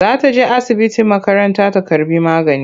Za ta je asibiti makaranta ta karɓi magani.